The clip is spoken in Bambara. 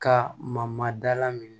Ka mamada minɛ